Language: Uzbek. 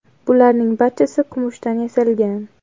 Bularning barchasi kumushdan yasalgan.